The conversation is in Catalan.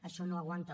això no aguanta